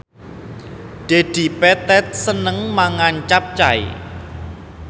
Dedi Petet seneng mangan capcay